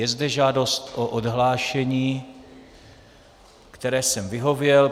Je zde žádost o odhlášení, které jsem vyhověl.